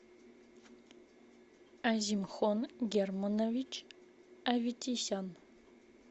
азимхон германович аветисян